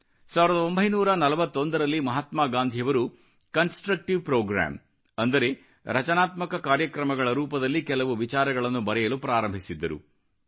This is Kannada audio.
ಸಾವಿರದ ಒಂಬೈನೂರಾ ನಲವತ್ತೊಂದರಲ್ಲಿ ಮಹಾತ್ಮಾ ಗಾಂಧಿಯವರು ಕನ್ಸ್ಟ್ರಕ್ಟಿವ್ ಪ್ರೋಗ್ರಾಮ್ ಅಂದರೆ ರಚನಾತ್ಮಕ ಕಾರ್ಯಕ್ರಮಗಳ ರೂಪದಲ್ಲಿ ಕೆಲವು ವಿಚಾರಗಳನ್ನು ಬರೆಯಲು ಪ್ರಾರಂಭಿಸಿದ್ದರು